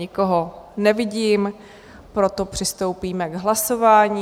Nikoho nevidím, proto přistoupíme k hlasování.